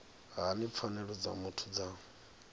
hani pfanelo dza muthu dza